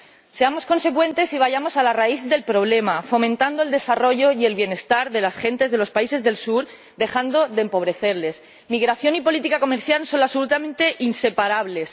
Seamos consecuentes y vayamos a la raíz del problema, fomentando el desarrollo y el bienestar de las gentes de los países del sur, dejando de empobrecerlas. Migración y política comercial son absolutamente inseparables.